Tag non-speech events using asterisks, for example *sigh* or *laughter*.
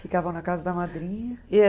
Ficavam na casa da madrinha? *unintelligible*